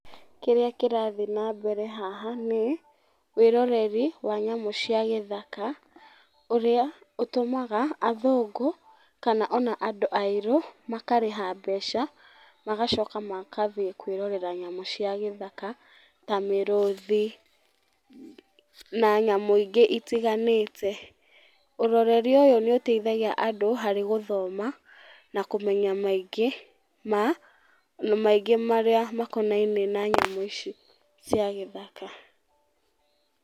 Kĩrĩa kĩrathiĩ na mbere haha, nĩ, wĩroreri wa nyamũ cia gĩthaka, ũrĩa ũtũmaga athũngũ, kana ona andũ airũ, makarĩha mebca magacoka magathiĩ kwĩrorera nyamũ cia gĩthaka, ta mĩrũthi, na nyamũ ingĩ itiganĩte. Ũroreri ũyũ nĩũteithagia andũ harĩ gũthoma, na kũmenya maingĩ ma maingĩ marĩa makonainiĩ na nyamũ ici cia gĩthaka.